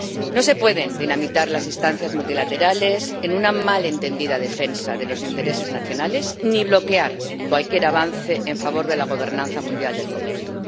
No se pueden dinamitar las instancias multilaterales en una mal entendida defensa de los intereses nacionales ni bloquear cualquier avance en favor de la gobernanza mundial del comercio.